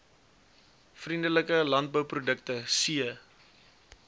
vriendelike landbouprodukte c